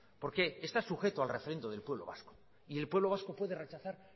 porque está sujeto al refrendo del pueblo vasco y el pueblo vasco puede rechazar